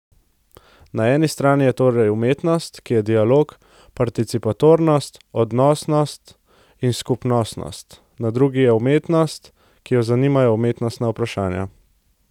Na eni strani je torej umetnost, ki je dialog, participatornost, odnosnost in skupnostnost, na drugi pa umetnost, ki jo zanimajo umetnostna vprašanja.